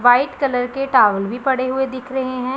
White colour के towel भी पड़े हुए दिख रहे हैं।